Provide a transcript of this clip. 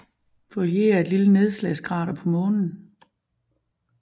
Feuillée er et lille nedslagskrater på Månen